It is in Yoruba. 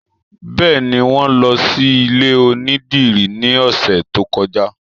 Bẹ́ẹ̀ni, wọn lọ sí ilé onídìrí ní ọ̀sẹ̀ tó kọjá